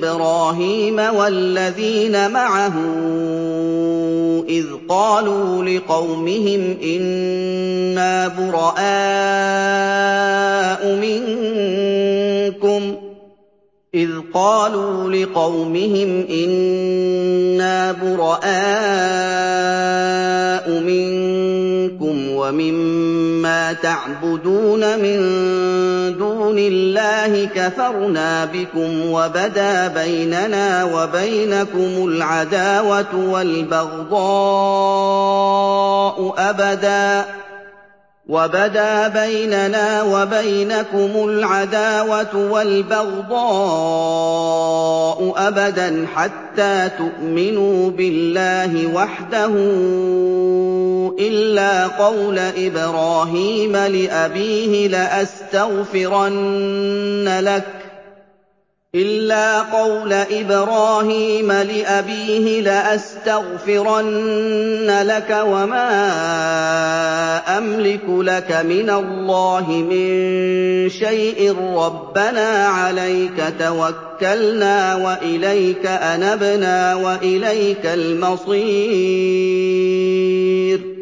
إِبْرَاهِيمَ وَالَّذِينَ مَعَهُ إِذْ قَالُوا لِقَوْمِهِمْ إِنَّا بُرَآءُ مِنكُمْ وَمِمَّا تَعْبُدُونَ مِن دُونِ اللَّهِ كَفَرْنَا بِكُمْ وَبَدَا بَيْنَنَا وَبَيْنَكُمُ الْعَدَاوَةُ وَالْبَغْضَاءُ أَبَدًا حَتَّىٰ تُؤْمِنُوا بِاللَّهِ وَحْدَهُ إِلَّا قَوْلَ إِبْرَاهِيمَ لِأَبِيهِ لَأَسْتَغْفِرَنَّ لَكَ وَمَا أَمْلِكُ لَكَ مِنَ اللَّهِ مِن شَيْءٍ ۖ رَّبَّنَا عَلَيْكَ تَوَكَّلْنَا وَإِلَيْكَ أَنَبْنَا وَإِلَيْكَ الْمَصِيرُ